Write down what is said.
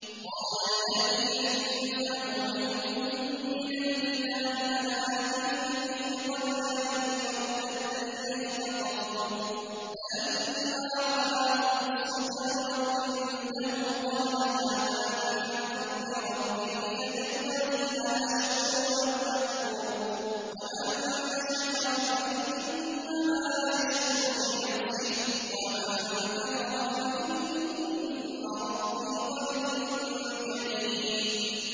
قَالَ الَّذِي عِندَهُ عِلْمٌ مِّنَ الْكِتَابِ أَنَا آتِيكَ بِهِ قَبْلَ أَن يَرْتَدَّ إِلَيْكَ طَرْفُكَ ۚ فَلَمَّا رَآهُ مُسْتَقِرًّا عِندَهُ قَالَ هَٰذَا مِن فَضْلِ رَبِّي لِيَبْلُوَنِي أَأَشْكُرُ أَمْ أَكْفُرُ ۖ وَمَن شَكَرَ فَإِنَّمَا يَشْكُرُ لِنَفْسِهِ ۖ وَمَن كَفَرَ فَإِنَّ رَبِّي غَنِيٌّ كَرِيمٌ